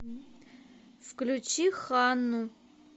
включи ханну